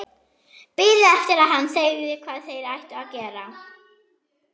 Biðu eftir að hann segði hvað þeir ættu að gera.